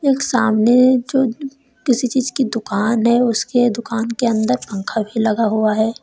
एक सामने जो किसी चीज की दुकान है उसके दुकान के अंदर पंखा भी लगा हुआ है।